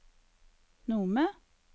Nome